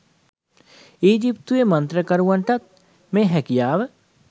ඊජිත්තුවේ මන්ත්‍රකරුවන්ටත් මේ හැකියාව